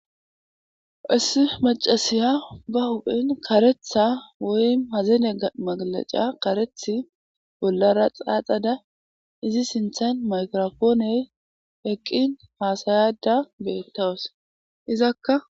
issi macasiya ba huphen karetha woyim hazene magleca karethi bollara xaaxada izi sinthan mayigrapooney eqqin haasayada beettawus izakka